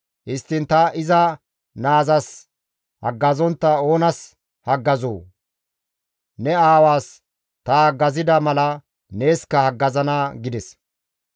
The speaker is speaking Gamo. Histtiin ta iza naazas haggazontta oonas haggazoo? Ne aawaas ta haggazida mala neeskka haggazana» gides.